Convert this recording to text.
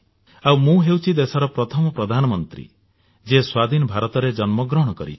ଆଉ ମୁଁ ହେଉଛି ଦେଶର ପ୍ରଥମ ପ୍ରଧାନମନ୍ତ୍ରୀ ଯିଏ ସ୍ୱାଧୀନ ଭାରତରେ ଜନ୍ମ ଗ୍ରହଣ କରିଛି